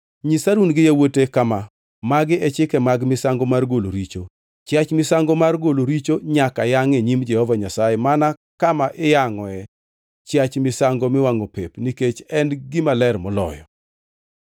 Nyis Harun gi yawuote kama: Magi e chike mag misango mar golo richo: Chiach misango mar golo richo nyaka yangʼ e nyim Jehova Nyasaye mana kama iyangʼoe chiach misango miwangʼo pep nikech en gima ler moloyo.